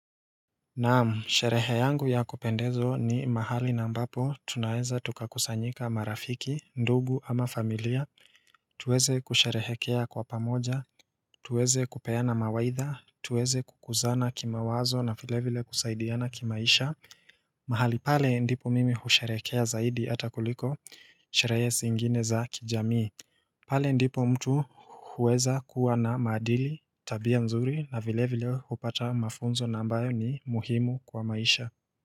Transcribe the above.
Naam, sherehe yangu ya kupendezwa ni mahali na ambapo, tunaweza tukakusanyika marafiki, ndugu ama familia, tuweze kusherehekea kwa pamoja, tuweze kupeana mawaidha, tuweze kukuzana kimawazo na vilevile kusaidiana kimaisha mahali pale ndipo mimi husherekea zaidi hata kuliko, sherehe singine za kijamii pale ndipo mtu huweza kuwa na maadili tabia nzuri na vile vile hupata mafunzo nambayo ni muhimu kwa maisha.